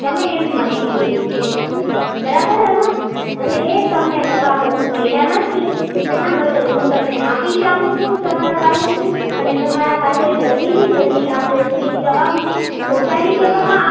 તમે એમ મને કીધેલું છે બરાબર એમાં, અને એ તમને હજુ મળ્યા નથી એનાં બદલ હું તમને માફી ચાહું છું તમારા પાસે થી અને તમારા પાસે જલ્દી થી જલ્દી આ તમામ પહોંચાડી દેવામાં આવે